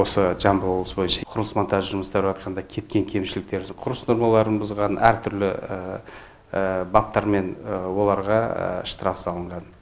осы жамбыл облысы бойынша құрылыс монтажы жұмыстары барысында кеткен кемшіліктерді құрылыс нормаларын бұзған әртүрлі баптармен оларға штраф салынған